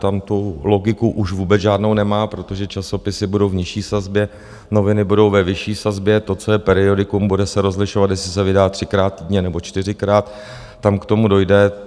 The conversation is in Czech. Tam to logiku už vůbec žádnou nemá, protože časopisy budou v nižší sazbě, noviny budou ve vyšší sazbě, to, co je periodikum, bude se rozlišovat, jestli se vydá třikrát týdně, nebo čtyřikrát, tam k tomu dojde.